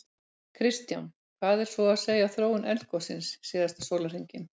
Kristján: Hvað er svo að segja af þróun eldgossins síðasta sólarhringinn?